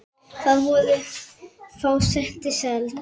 Þar voru fá sæti seld.